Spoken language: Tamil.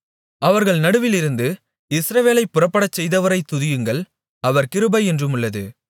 அவர்கள் நடுவிலிருந்து இஸ்ரவேலைப் புறப்படச்செய்தவரைத் துதியுங்கள் அவர் கிருபை என்றுமுள்ளது